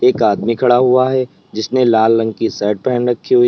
एक आदमी खड़ा हुआ है जिसने लाल रंग की शर्ट पहन रखी हुई --